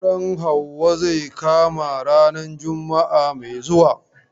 Auren Hauwa zai kama ranar juma'a mai zuwa.